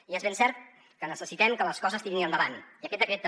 i és ben cert que necessitem que les coses tirin endavant i aquest decret també